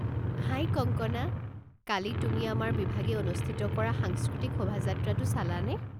হাই কংকনা, কালি তুমি আমাৰ বিভাগে অনুষ্ঠিত কৰা সাংস্কৃতিক শোভাযাত্ৰাটো চালানে?